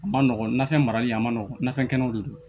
A ma nɔgɔn nafɛn marali a ma nɔgɔn nafɛn kɛnɛw de don